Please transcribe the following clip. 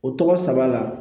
O tɔgɔ saba la